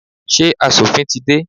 Ṣé asòfin tí dé?